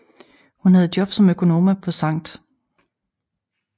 Hun havde job som økonoma på Sct